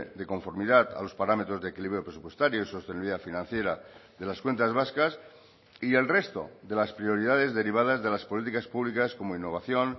de conformidad a los parámetros de equilibrio presupuestario y sostenibilidad financiera de las cuentas vascas y el resto de las prioridades derivadas de las políticas públicas como innovación